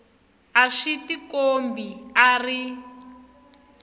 a swi tikombi a ri